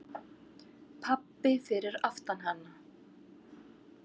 Pabbi fyrir aftan hana: